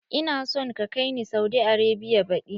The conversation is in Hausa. Ina son ka kai ni Saudi Arabia baɗi!